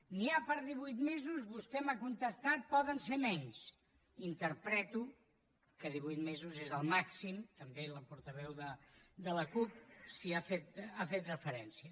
n’hi ha per divuit mesos vostè m’ha contestat poden ser menys interpreto que divuit mesos és el màxim també la portaveu de la cup hi ha fet referència